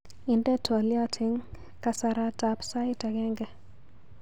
Inde twaliot eng kasaratab sait agenge.